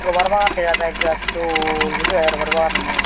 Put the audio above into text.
robar bagan dega jai birat dol guri dega jai robar baganano.